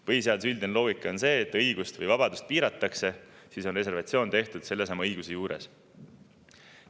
Põhiseaduse üldine loogika on see, et kui õigust või vabadust piiratakse, siis on reservatsioon tehtud sellesama õiguse juures.